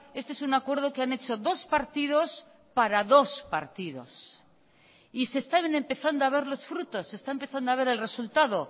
este es un acuerdo que han hecho dos partidos para dos partidos y se están empezando a ver los frutos se está empezando a ver el resultado